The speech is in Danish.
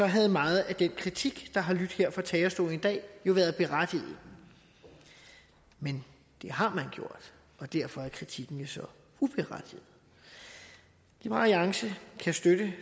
havde meget af den kritik der har lydt her fra talerstolen i dag været berettiget men det har man gjort og derfor er kritikken jo uberettiget liberal alliance kan støtte